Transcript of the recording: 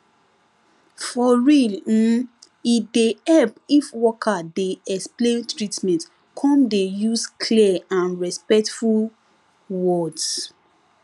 for real um e dey help if worker dey explain treatment come dey use clear and respectful words